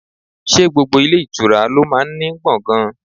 Ṣé gbogbo ilé ìtura lo máa ń ní gbọ̀ngan?